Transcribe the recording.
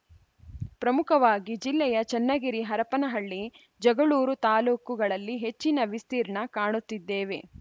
ಪ್ರಮುಖವಾಗಿ ಜಿಲ್ಲೆಯ ಚನ್ನಗಿರಿ ಹರಪನಹಳ್ಳಿ ಜಗಳೂರು ತಾಲುಕುಗಳಲ್ಲಿ ಹೆಚ್ಚಿನ ವಿಸ್ತೀರ್ಣ ಕಾಣುತ್ತಿದ್ದೇವೆ